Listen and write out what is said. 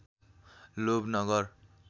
लोभ नगर